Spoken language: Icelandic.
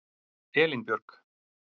Elínbjörg